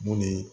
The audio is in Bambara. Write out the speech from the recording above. Mun ni